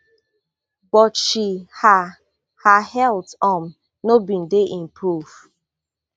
but she her her health um no bin dey improve